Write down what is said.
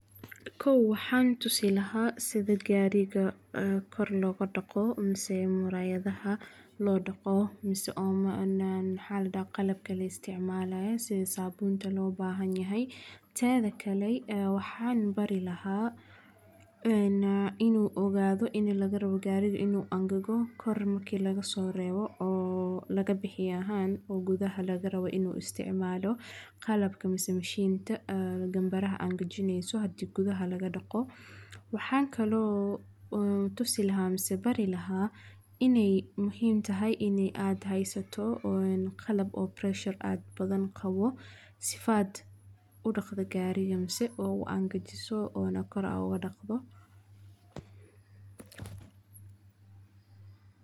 Dhiko waxaan tusi lahaa sida gaariga, aah, kor looga daqo omose muraayadaha loo daqo mis oo naan xaalada qalabka la isticmaalaya si saabuunta loo baahan yahay. Taada kale, aah, waxaan barilaha aanaa inuu ogaado in lagarabo gaariga inuu angago kormaki laga soo reebo oo laga bixiyaahaan oo gudaha lagarawaa inuu isticmaalo qalabka misi mishiinta, aah, ganbaraha aan gajineyso haddii gudaha laga daqo. Waxaan kaloo, aah, tusi lahaa misa barilaha inay muhiim tahay inee aad haysato own qalab oo pressure aad badan qabo sifood u dhaqda gaariyamse oo uu aan gajiso oo na kor u adagdo.